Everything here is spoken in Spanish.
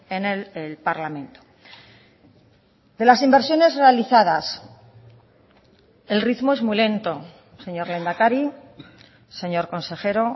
en el parlamento de las inversiones realizadas el ritmo es muy lento señor lehendakari señor consejero